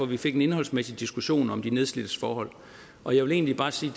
vi fik en indholdsmæssig diskussion om de nedslidtes forhold og jeg vil egentlig bare sige